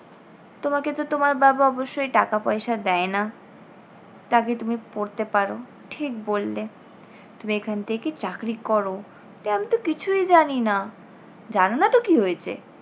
তোমাকে তো তোমার বাবা অবশ্যই টাকা পয়সা দেয় না তা কী তুমি পড়তে পারো, ঠিক বললে। তুমি এখান থেকে চাকরি করো কিন্তু আমি তো কিছুই জানিনা। জানোনা তো কী হয়েছে?